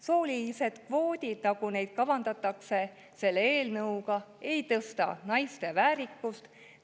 Soolised kvoodid, nagu neid kavandatakse selle eelnõuga, ei tõsta naiste väärikust.